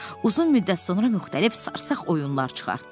Uzun müddət sonra müxtəlif sarsaq oyunlar çıxartdı.